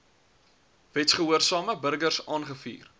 wetsgehoorsame burgers aangevuur